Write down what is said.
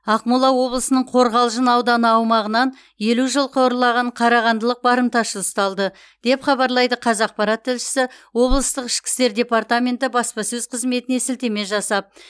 ақмола облысының қорғалжын ауданы аумағынан елу жылқы ұрлаған қарағандылық барымташы ұсталды деп хабарлайды қазақпарат тілшісі облыстық ішкі істер департаменті баспасөз қызметіне сілтеме жасап